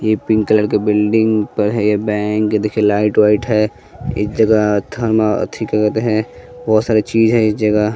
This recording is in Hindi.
ये पिंक कलर के बिल्डिंग पर है ये बैंक ये देखिए लाइट वाइट है इस जगह थर्मा बहोत सारी चीज है इस जगह--